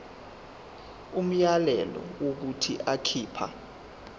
umyalelo wokuthi akhipha